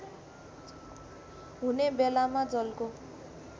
हुने बेलामा जलको